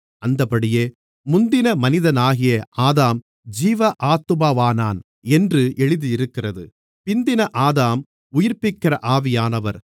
அந்தப்படியே முந்தின மனிதனாகிய ஆதாம் ஜீவ ஆத்துமாவானான் என்று எழுதியிருக்கிறது பிந்தின ஆதாம் உயிர்ப்பிக்கிற ஆவியானவர்